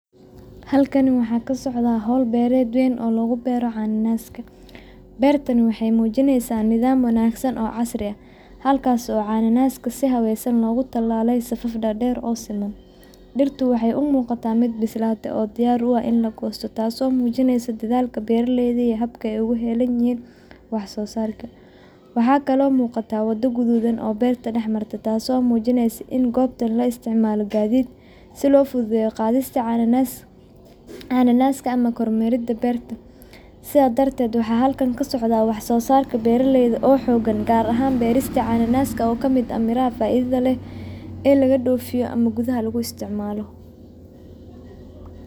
Halkan waxa ka socdaa hawl beereyt weyn oo lagu beero cananaaska. Beertani waxay muujinaysaa nidaam wanaagsan oo casri ah, halkaas oo cananaaska oo si habaysan lagu tallaalay safaf dhaadheer oo siman. Dhirta waxay u muuqataa mid bislaatay oo diyaar u ah in la goosto, taasoo muujinaysa dadaalka beeraleyda iyo habka ay ugu heelan yihiin wax-soo-saar tayo leh. Sidoo kale, waxaa muuqata wado guduudan oo dhex marta beerta, taasoo muujinaysa in goobta la isticmaalo gaadiid si loo fududeeyo goosashada cananaaska ama kor maridda beerta. Sidaas darteed, waxa halkan ka socdaa wax-soo-saar beeraleyda oo xogan gaar ahan beerta cananaaska — oo ka mid ah miraha faa’iidada leh ee gudaha laga isticmaalo ama dibadda loo dhoofiyo.